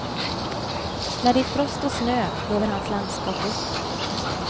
När det är frost och snö lever hans landskap upp.